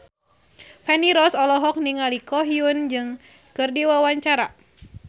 Feni Rose olohok ningali Ko Hyun Jung keur diwawancara